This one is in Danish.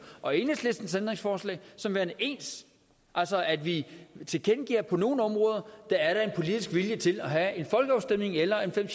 og enhedslistens ændringsforslag som værende ens altså at vi tilkendegiver at på nogle områder er der en politisk vilje til at have en folkeafstemning eller fem